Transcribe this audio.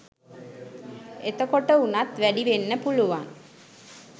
එතකොටවුනත් වැඩිවෙන්න පුළුවන්